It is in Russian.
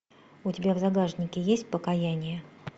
у тебя в загашнике есть покаяние